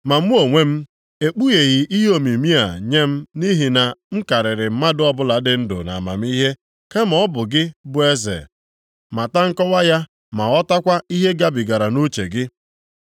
Ma mụ onwe m, ekpugheghị ihe omimi a nye m nʼihi na m karịrị mmadụ ọbụla dị ndụ nʼamamihe, kama ọ bụ ka gị bụ eze mata nkọwa ya ma ghọtakwa ihe gabigara nʼuche gị.